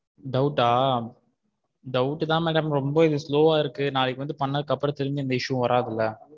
Doubt வா doubt தான் madam ரொம்ப இது slow வா இருக்கு நாளைக்கு வந்து பண்ணதுக்கு அப்புறம் திரும்பியும் எந்த issue வராதுல.